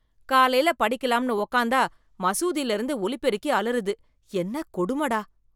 காலைல படிக்கலாம்னு உக்காந்தா மசூதில இருந்து ஒலிபெருக்கி அலறுது, என்ன கொடும டா.